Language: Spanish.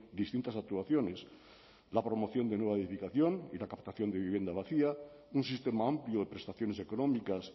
distintas actuaciones la promoción de nueva edificación y la captación de vivienda vacía un sistema amplio de prestaciones económicas